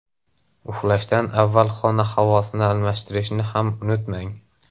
Uxlashdan avval xona havosini almashtirishni ham unutmang.